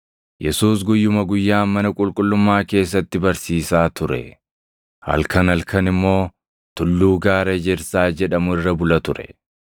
Yesuus guyyuma guyyaan mana qulqullummaa keessatti barsiisaa ture; halkan halkan immoo tulluu Gaara Ejersaa jedhamu irra bula ture.